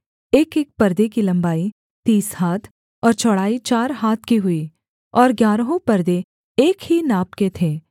एकएक परदे की लम्बाई तीस हाथ और चौड़ाई चार हाथ की हुई और ग्यारहों परदे एक ही नाप के थे